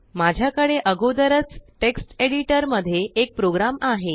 माझ्याकडे आगोदरचटेक्ष्ट एडिटर मध्ये एक प्रोग्राम आहे